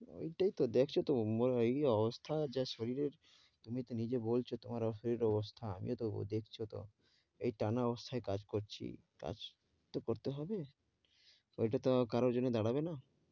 ঐটাই তো দেখছ তো ম~নের কী অবস্থা যা শরীরের। তুমি তো নিজে বলছ তোমার office অবস্থা। আমিও তবু দেখছ তো এই টানা অবস্থায় কাজ করছি। কাজ তো করতে হবে, ঐটা তো কারোর জন্য দাঁড়াবে না।